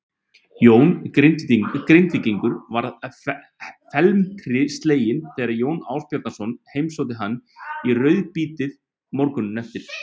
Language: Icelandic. Jón Grindvíkingur varð felmtri sleginn þegar Jón Ásbjarnarson heimsótti hann í rauðabítið morguninn eftir.